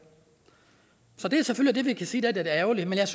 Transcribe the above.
så det selvfølgelig sige er lidt ærgerligt men jeg